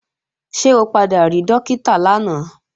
Ṣé o padà rí Dókítà lánàá?